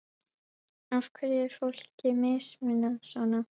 Af hverju er fólki mismunað svona?